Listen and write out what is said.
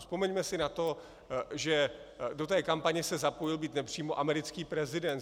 Vzpomeňme si na to, že do té kampaně se zapojil, byť nepřímo, americký prezident.